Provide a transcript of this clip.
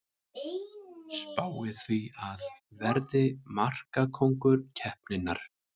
Spái því að verði markakóngur keppninnar!